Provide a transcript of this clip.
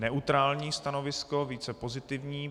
Neutrální stanovisko, více pozitivní.